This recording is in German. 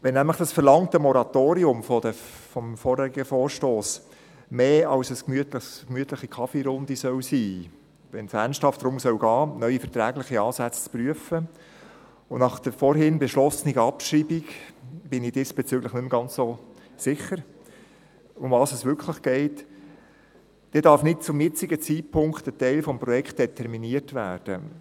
Wenn nämlich das im vorhergehenden Vorstoss verlangte Moratorium mehr als eine gemütliche Kaffeerunde sein soll, wenn es ernsthaft darum gehen soll, neue vertragliche Ansätze zu prüfen – nach der vorhin beschlossenen Abschreibung bin ich diesbezüglich nicht mehr ganz so sicher, worum es wirklich geht –, darf nicht zum jetzigen Zeitpunkt ein Teil des Projekts determiniert werden.